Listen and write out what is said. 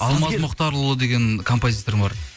алмаз мұхтарұлы деген композитор бар